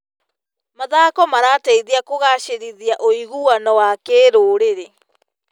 Mathako marateithia kũgacĩrithia ũiguano wa kĩrũrĩrĩ.